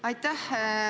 Aitäh!